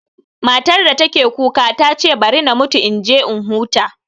Matar da take kuka ta ce bari na mutu in je in huta